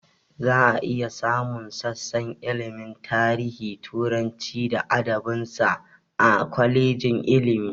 Za a iya samun sassan ilmin tarihi, turanci da adabin sa, a kwalejin ilmi